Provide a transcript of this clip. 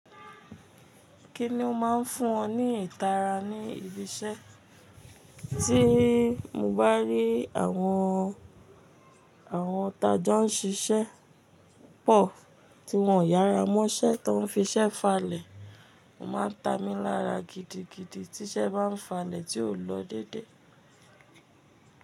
Kí ni o máa ń fún ọ ní ìtara ní ibi iṣẹ́? Tí mo bá rí àwọn, àwọn tajo ń ṣiṣẹ́ pọ̀ tí wọn o yára mọ́ṣẹ́ tá ń fi iṣẹ́ falẹ̀, ó máa ń ta mi lára gidigidi tí iṣẹ́ bá ń falẹ̀ tí ò lọ dédé.